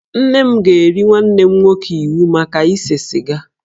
Nne m ga-eri nwanne m nwoke iwu maka ise siga